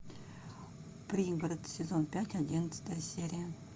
пригород сезон пять одиннадцатая серия